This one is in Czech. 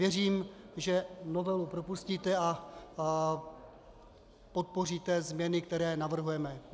Věřím, že novelu propustíte a podpoříte změny, které navrhujeme.